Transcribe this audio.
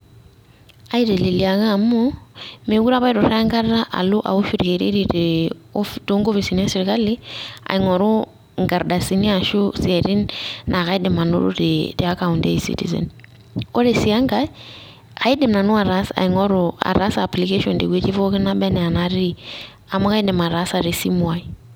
Aiteleliaka amu mekure apa Ituraa enkata alo aowosh irkererin toonkopisini esirkali aing'oru inkardasini ashuu isiatin naa kaidim anoto tiakaunt e ezitizen ore sii enkae kaidim nanu aing'oru ataasa application tewuuji nebaanaa enatii amu kaidim ataasa tesimuaai.